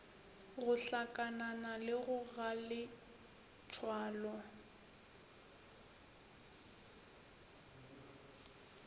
go hlakanana le ba galetsoalo